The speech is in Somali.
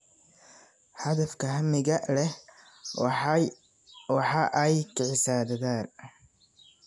Hadafka hamiga leh waxa ay kicisaa dadaal.